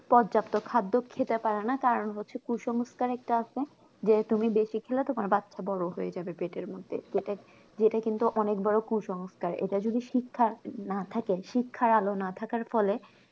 পর্যাপ্ত খাদ্য খেতে পারে না কারণ হচ্ছে কুসংস্কার একটা আছে যে তুমি বেশি খেলে তোমার বাচ্চা বড়ো হয়ে যাবে পেটের মধ্যে যেটা কিন্তু অনেক বড়ো কুসংস্কার এটা যদি শিক্ষা না থাকে শিক্ষার আলো না থাকার ফলে